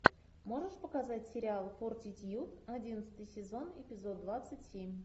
можешь показать сериал фортитьюд одиннадцатый сезон эпизод двадцать семь